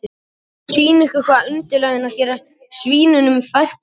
Mig langar að sýna ykkur hvað undirlægjurnar gera svínunum fært í þessu landi.